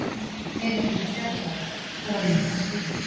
Þegar ég var þrjátíu ára þá var ég nú bara á götunni.